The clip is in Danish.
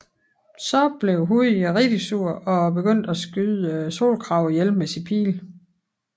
Så blev Houyi rigtig sur og begyndte at skyde solkragene ihjel med sine pile